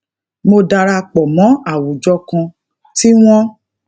mo dara pò mó àwùjọ kan tí wón